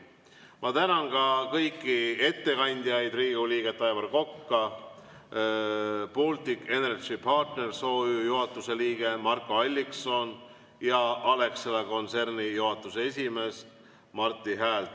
Ma tänan ka kõiki ettekandjaid: Riigikogu liiget Aivar Kokka, Baltic Energy Partners OÜ juhatuse liiget Marko Alliksoni ja Alexela kontserni juhatuse esimeest Marti Häält.